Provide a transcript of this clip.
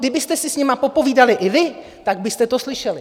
Kdybyste si s nimi popovídali i vy, tak byste to slyšeli.